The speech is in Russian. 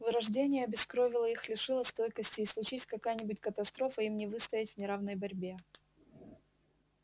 вырождение обескровило их лишило стойкости и случись какая-нибудь катастрофа им не выстоять в неравной борьбе